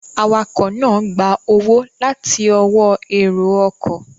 Awakọ̀ náà gba owó láti ọwọ́ èrò ọkọ̀